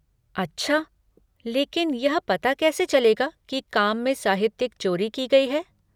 अच्छा! लेकिन यह पता कैसे चलेगा कि काम में साहित्यिक चोरी की गई है?